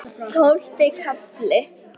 Tólfti kafli